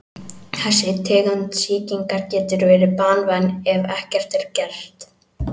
Þessi tegund sýkingar getur verið banvæn ef ekkert er að gert.